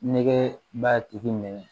Nɛkɛ b'a tigi minɛ